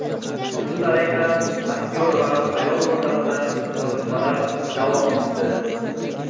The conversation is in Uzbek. Shu tariqa aktyor va ayol o‘rtasida yozishmalar davom etdi.